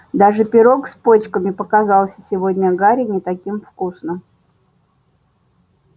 даже пирог с почками показался сегодня гарри не таким вкусным